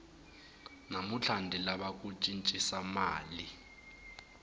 namuntlha ndzi lava ku cincisa mali